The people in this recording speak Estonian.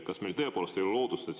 Kas meil tõepoolest ei ole lootust?